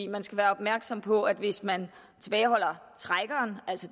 man skal være opmærksom på at hvis man tilbageholder trækkeren altså